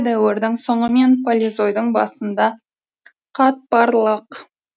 дәуірдің соңы мен палеозойдың басында қатпарлық